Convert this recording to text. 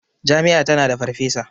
Jami'a tana da farfesa.